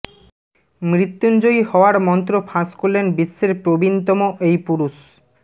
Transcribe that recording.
মৃত্যুঞ্জয়ী হওয়ার মন্ত্র ফাঁস করলেন বিশ্বের প্রাবীনতম এই পুরুষ